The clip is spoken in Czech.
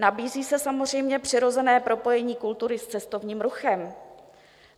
Nabízí se samozřejmě přirozené propojení kultury s cestovním ruchem.